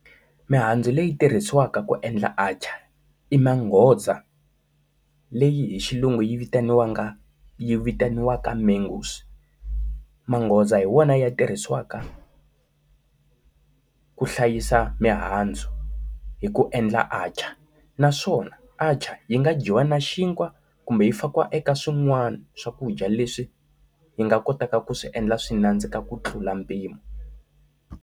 Mihandzu leyi tirhisiwaka ku endla atchaar i manghoza leyi hi xilungu yi vitaniwanga vitaniwaka mangoes. Manghoza hi wona ya tirhisiwaka ku hlayisa mihandzu hi ku endla atchaar. Naswona atchaar yi nga dyiwa na xinkwa kumbe yi fakiwa eka swin'wana swakudya leswi yi nga kotaka ku swi endla swi nandzika ku tlula mpimo.